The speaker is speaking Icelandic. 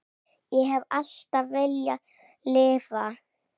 Ég hef alltaf viljað lifa.